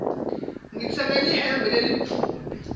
ngitsenge lihembe lelimtfubi